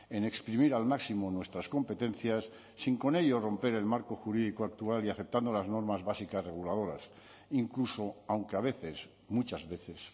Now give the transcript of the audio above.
en exprimir al máximo nuestras competencias sin con ello romper el marco jurídico actual y aceptando las normas básicas reguladoras incluso aunque a veces muchas veces